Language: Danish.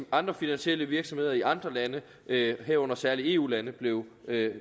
andre finansielle virksomheder i andre lande herunder særlig eu lande blev